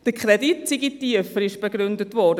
Der Kredit sei tiefer, wurde zur Begründung angeführt.